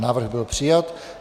Návrh byl přijat.